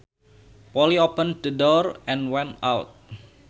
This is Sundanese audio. Polly opened the door and went out